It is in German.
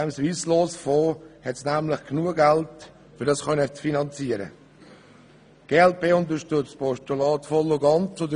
Denn im Swisslos-Fonds ist nämlich genug Geld für die Finanzierung vorhanden.